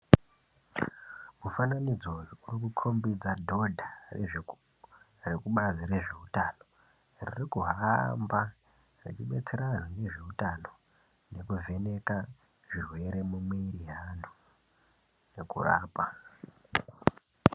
Mufananidzo uyo uri kukombidza dhodha rekubazi rezveutano rir kuhamba reibatsira anhu ngezveutano nekuvheneka zvirwere mumuviri yaandu nekurapa.